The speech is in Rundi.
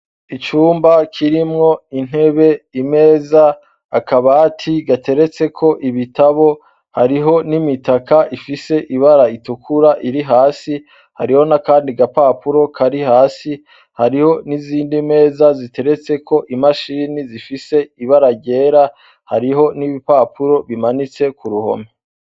Icumba kirimwo intebe, imeza, akabati gateretseko ibitabo, hariho n'imitaka ifise ibara ritukura iri hasi ,hariho n'akandi gapapuro kari hasi, hariho n'ibindi meza ziteretseko imashine zifise ibara ryera, hariho n'ibipapuro bimanitse ku ruhome.